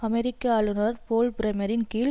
அமெரிக்க ஆளுநர் போல் பிரேமரின் கீழ்